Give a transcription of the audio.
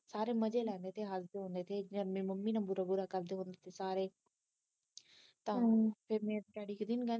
ਸਾਰੇ ਮਜ਼ੇ ਲੈਂਦੇ ਸੀ ਹਸਦੇ ਹੁੰਦੇ ਸੀ ਵਿਚਾਰੀ ਮੇਰੀ ਮੰਮੀ ਨਾ ਬੁਰਾ ਕਰਦੇ ਹੁੰਦੇ ਸੀ ਸਾਰੇ ਈ ਫਿਰ ਮੇਰਾ ਡੈਡੀ ਕਦੇ